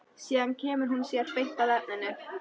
Síðan kemur hún sér beint að efninu.